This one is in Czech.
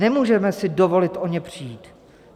Nemůžeme si dovolit o ně přijít.